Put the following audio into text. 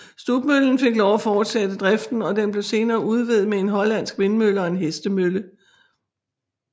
Stubmøllen fik lov at fortsætte driften og den blev senere udvidet med en hollandsk vindmølle og en hestemølle